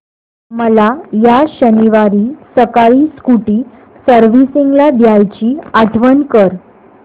मला या शनिवारी सकाळी स्कूटी सर्व्हिसिंगला द्यायची आठवण कर